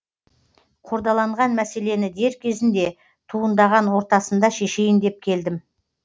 қордаланған мәселені дер кезінде туындаған ортасында шешейін деп келдім